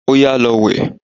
Óyá, lọ wẹ̀!